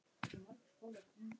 Fáðu þér lúr.